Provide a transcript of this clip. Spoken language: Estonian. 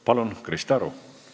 Palun, Krista Aru!